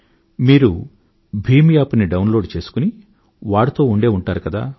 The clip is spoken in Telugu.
మీరు భీమ్ App ని డౌన్ లోడ్ చేసుకుని వాడుతూ ఉండే ఉంటారు కదా